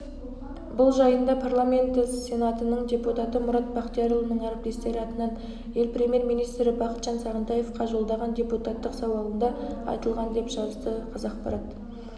бұл жайында парламенті сенатының депутаты мұрат бақтиярұлының әріптестері атынан ел премьер-министрі бақытжан сағынтаевқа жолдаған депутаттық сауалында айтылған деп жазадықазақпарат